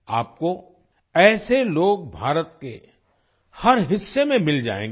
आपको ऐसे लोग भारत के हर हिस्से में मिल जाएंगे